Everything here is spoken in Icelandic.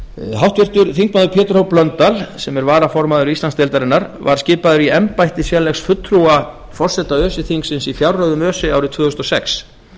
háttvirtur þingmaður pétur h blöndal sem er varaformaður íslandsdeildarinnar var skipaður í embætti sérlegs fulltrúa forseta öse þingsins í fjárreiðum öse árið tvö þúsund og sex